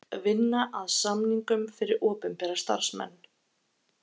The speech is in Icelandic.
Vinna að samningum fyrir opinbera starfsmenn